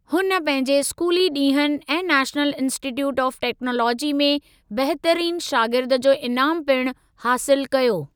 हुन पंहिंजे स्कूली ॾींहनि ऐं नेशनल इंस्टीट्यूट ऑफ़ टेक्नोलॉजी में बहितरीन शागिर्द जो इनामु पिणु हासिलु कयो।